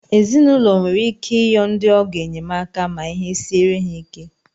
Ezinaụlọ nwere ike iyọ ndị ọgọ enyemaka ma ihe siere ha ike